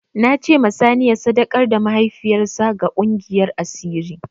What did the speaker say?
Na ce ma sani ya sadakar da mahaifiyar sa ga ƙungiyar asiri